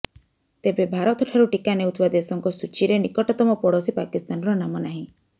ତେବେ ଭାରତଠାରୁ ଟିକା ନେଉଥିବା ଦେଶଙ୍କ ସୂଚୀରେ ନିକଟତମ ପଡୋଶୀ ପାକିସ୍ତାନର ନାମ ନାହିଁ